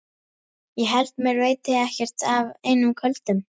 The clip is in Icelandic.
Ég held mér veiti ekkert af einum köldum.